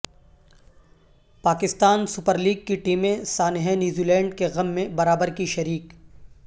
Pakistan super league کی ٹیمیں سانحہ نیوزی لینڈ کے غم میں برابر کی شریک